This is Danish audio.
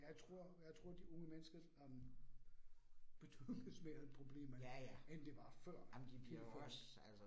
Jeg tror jeg tror de unge mennesker øh betyder mere problemer end det var før tilført